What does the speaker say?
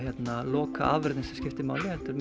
lokaafurðin sem skiptir máli heldur